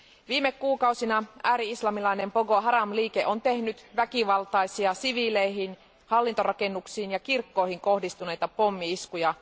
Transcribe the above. Viime kuukausina ääri islamilainen Boko Haram liike on tehnyt väkivaltaisia siviileihin, hallintorakennuksiin ja kirkkoihin kohdistuneita pommi iskuja.